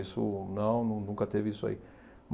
Isso não, nun nunca teve isso aí.